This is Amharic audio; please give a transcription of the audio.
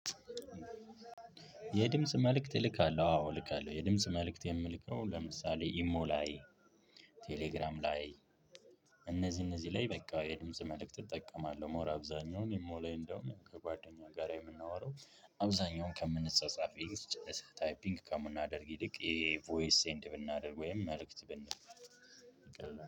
የድምጽ መልእክት እልካለሁ፥ አዎ እልካለሁ። የድምጽ መልእክት የምልከው ለምሳሌ ኢሞ ላይ፣ ቴሌግራም ላይ፣ እነዚህ እነዚህ ላይ በቃ የድምጽ መልእክት እጠቀማለሁ። ሞር አብዛኛውን ኢሞ ላይ እንደውም ከጓደኛ ጋር የምናወራው አብዛኛውን ከምንጻጻፍ ታይፒንግ ከምናደርግ ይልቅ የቮይስ ሴንድ ብናደርግ ወይም መልእክት ብንልክ ቀላል